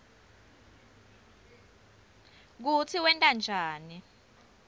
kutsi wenta njani